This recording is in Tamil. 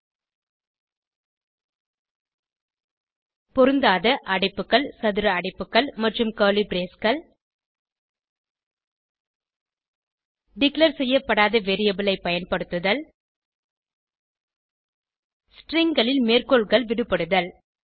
உதாரணமாக பொருந்தாத அடைப்புகள் சதுர அடைப்புகள் மற்றும் கர்லி braceகள் டிக்ளேர் செய்யப்படாத வேரியபிள் ஐ பயன்படுத்துதல் stringகளில் மேற்கோள்கள் விடுபடுதல்